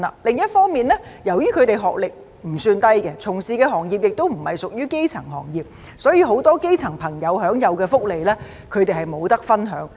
另一方面，由於他們的學歷不算低，從事的行業亦不屬於基層行業，所以，很多基層朋友享有的福利，他們都不能分享。